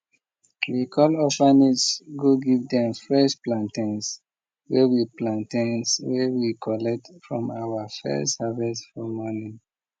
we call orphanage go give dem fresh plantains wey we plantains wey we collect from our first harvest for morning